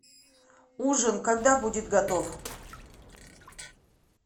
ужин когда будет готов